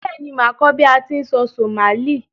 Béèni, màá kó bi a ti n sọ Somali